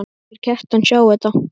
Þeir Kjartan sjá þetta.